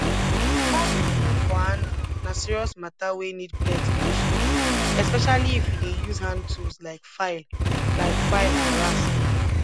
carving wood for handle na serious matter wey need plenti patience especially if you dey use hand tools like file like file and rasp